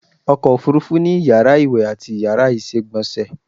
Ọkọ̀ òfúrufú ni Iyàrá ìwè ati Iyàrá ìsègbònsè